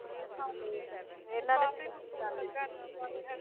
ਹਾਂਜੀ ਕਾਫੀ ਕੁਛ ਪਤਾ ਲੱਗਾ ਇੰਨਾ ਬਾਰੇ।